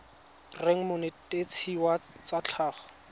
reng monetetshi wa tsa tlhago